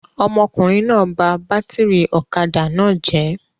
Ọmọkùnrin náà bá bátírí ọ̀kadà náà jẹ̀ ẹ́.